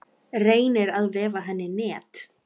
Reynir að vefa henni net.